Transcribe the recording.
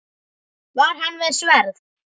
Var hann með sverð?